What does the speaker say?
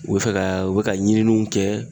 U bɛ fɛ ka u bɛ ka ɲininiw kɛ